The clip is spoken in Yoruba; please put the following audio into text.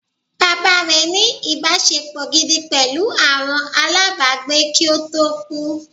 Bàbá rẹ̀ ní “ ìbáṣepọ̀ gidi pẹ̀lú àwọn alábàágbé kí ó tó kú